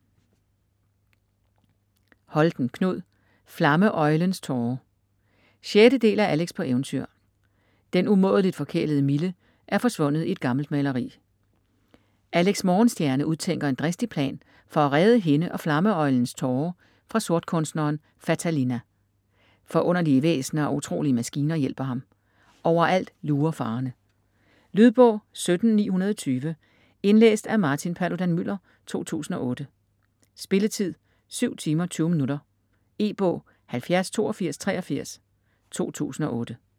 Holten, Knud: Flamme-øglens tåre 6. del af Alex på eventyr. Den umådeligt forkælede Mille er forsvundet i et gammelt maleri. Alex Morgenstjerne udtænker en dristig plan for at redde hende og Flamme-Øglens Tåre fra sortkunstneren Fatalina. Forunderlige væsner og utrolige maskiner hjælper ham. Overalt lurer farerne. Lydbog 17920 Indlæst af Martin Paludan-Müller, 2008. Spilletid: 7 timer, 20 minutter. E-bog 708283 2008.